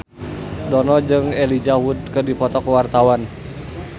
Dono jeung Elijah Wood keur dipoto ku wartawan